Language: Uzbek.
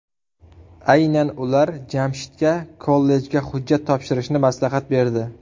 Aynan ular Jamshidga kollejga hujjat topshirishni maslahat berdi.